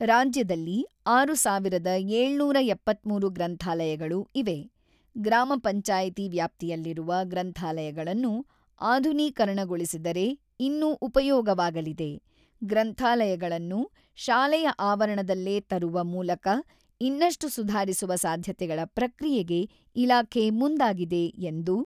ರಾಜ್ಯದಲ್ಲಿ ಆರು ಸಾವಿರದ ಏಳುನೂರ ಎಪ್ಪತ್ತ್ಮೂರು ಗ್ರಂಥಾಲಯಗಳು ಇವೆ: ಗ್ರಾಮ ಪಂಚಾಯಿತಿ ವ್ಯಾಪ್ತಿಯಲ್ಲಿರುವ ಗ್ರಂಥಾಲಯಗಳನ್ನು ಆಧುನೀಕರಣಗೊಳಿಸಿದರೆ ಇನ್ನೂ ಉಪಯೋಗವಾಗಲಿದೆ: ಗ್ರಂಥಾಲಯಗಳನ್ನು ಶಾಲೆಯ ಆವರಣದಲ್ಲೇ ತರುವ ಮೂಲಕ ಇನ್ನಷ್ಟು ಸುಧಾರಿಸುವ ಸಾಧ್ಯತೆಗಳ ಪ್ರಕ್ರಿಯೆಗೆ ಇಲಾಖೆ ಮುಂದಾಗಿದೆ" ಎಂದು